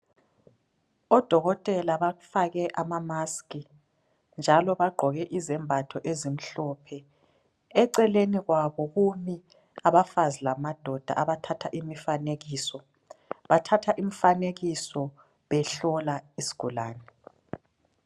Odokotela badake ama mask njalo badake izembatho ezimhlophe, eceleni kwabo kulabadazi lamadoda athatha imifaneko. Bathatha imfanekiso behlola isigulane singaqedi